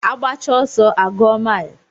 Agbacha ọsọ a gụọ mile